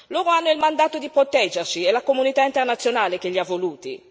Loro hanno il mandato di proteggerci, è la comunità internazionale che gli ha voluti.